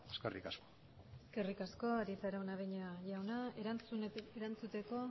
eskerrik asko eskerrik asko arieta araunabeña jauna erantzuteko